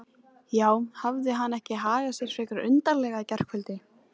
Já, hafði hann ekki hagað sér frekar undarlega í gærkvöld?